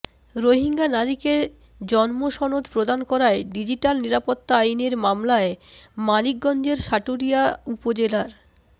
রোহিঙ্গা নারীকে জন্মসনদ প্রদান করায় ডিজিটাল নিরাপত্তা আইনের মামলায় মানিকগঞ্জের সাটুরিয়ার উপজেলার